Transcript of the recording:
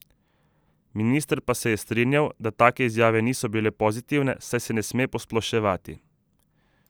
Minister pa se je strinjal, da take izjave niso bile pozitivne, saj se ne sme posploševati.